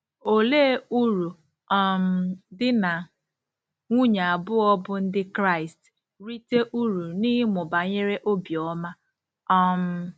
Olee uru um di na nwunye abụọ bụ́ Ndị Kraịst rite uru n’ịmụ banyere obiọma? um